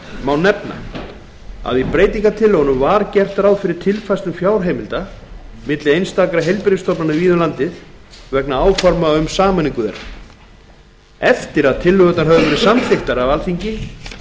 má nefna að í breytingartillögunum var gert ráð fyrir tilfærslum fjárheimilda milli einstakra heilbrigðisstofnana víða um landið vegna áforma um sameiningu þeirra eftir að tillögurnar höfðu verið samþykktar af alþingi